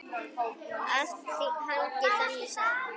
Allt hangir þetta saman.